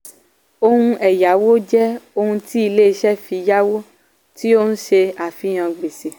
ohun ẹ̀yáwó jẹ́ ohun tí ilé iṣẹ́ fi yáwó tí ó ń ṣe àfihàn gbèsè.